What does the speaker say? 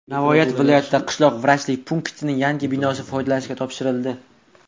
Navoiy viloyatida qishloq vrachlik punktining yangi binosi foydalanishga topshirildi.